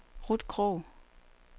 Ruth Krogh